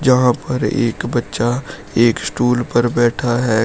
वहां पर एक बच्चा एक स्टूल पर बैठा है।